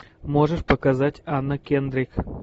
можешь показать анна кендрик